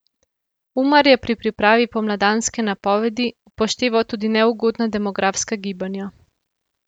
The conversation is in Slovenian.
Umar je pri pripravi pomladanske napovedi upošteval tudi neugodna demografska gibanja.